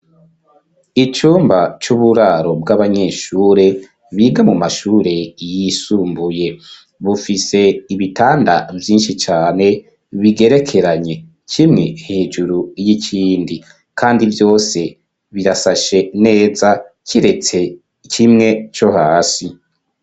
icumba c'uburaro bw'abanyeshure biga mu mashure yisumbuye bufise ibitanda vyinshi cane bigerekeranye kimwe hejuru y'ikindi kandi vyose birasashe neza kiretse kimwe co hasi.